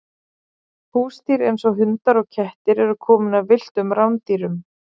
húsdýr eins og hundar og kettir eru komin af villtum rándýrum